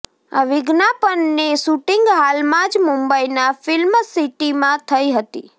આ વિજ્ઞાપનની શૂટિંગ હાલમાંજ મુંબઈના ફિલ્મ સિટીમાં થઇ હતી